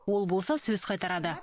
ол болса сөз қайтарады